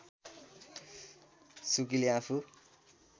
सुकीले आफू